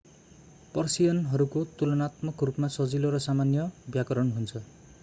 पर्सियनहरूको तुलानात्मक रूपमा सजिलो र सामान्य व्याकरण हुन्छ